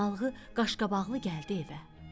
Analığı qaşqabaqlı gəldi evə.